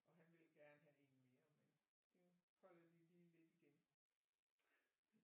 Og han ville gerne have en mere men det er jo holder de lige lidt igen